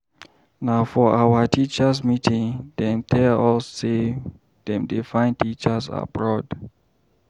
Na for our teachers' meeting dem tell us sey dem dey find teachers abroad.